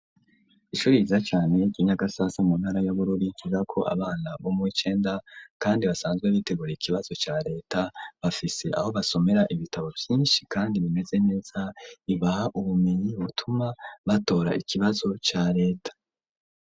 Ishuri ryiza cane ry'inyagasasa mu ntara yabururi ,ryiga ko abana bomu w' icenda ,kandi basanzwe bitegura ikibazo ca leta ,bafise aho basomera ibitabo vyinshi, kandi bimeze neza ibaha ubumenyi butuma batora ikibazo ca leta.